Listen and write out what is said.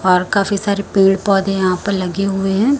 और काफी सारे पेड़ पौधे यहां पर लगे हुए हैं।